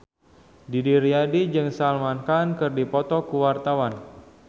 Didi Riyadi jeung Salman Khan keur dipoto ku wartawan